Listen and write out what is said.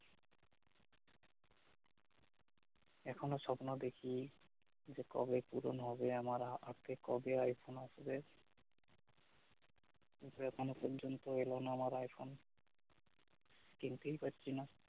এখনো সপ্ন দেখি যে কবে পুরন হবে আমার হাতে কবে আইফোন আসবে কিন্তু এখনো পর্যন্ত এলোনা আমার আইফোন কিনতেই পারছি না